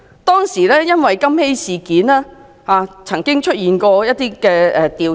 當時因金禧事件，曾經作出一些調查。